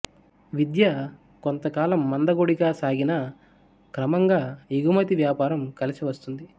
విద్య కొంతకాలం మందకొడిగా సాగినా క్రమంగా ఎగుమతి వ్యాపారం కలసి వస్తుంది